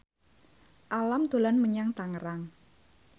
Alam dolan menyang Tangerang